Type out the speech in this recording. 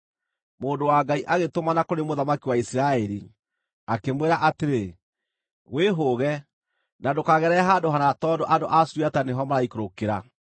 Mũndũ wa Ngai agĩtũmana kũrĩ mũthamaki wa Isiraeli, akĩmwĩra atĩrĩ, “Wĩhũũge, na ndũkagerere handũ hana tondũ andũ a Suriata nĩho maraikũrũkĩra.”